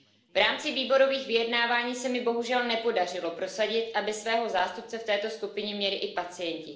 V rámci výborových vyjednávání se mi bohužel nepodařilo prosadit, aby svého zástupce v této skupině měli i pacienti.